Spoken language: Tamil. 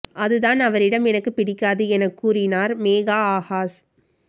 அது தான் அவரிடம் எனக்கு பிடிக்காது எனக் கூறினார் மேகா ஆகாஷ்